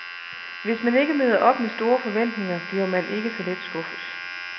Hvis man ikke møder op med store forventninger, bliver man ikke så let skuffet.